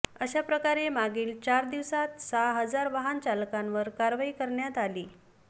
अशा प्रकारे मागील चार दिवसांत सहा हजार वाहन चालकांवर कारवाई करण्यात आलीय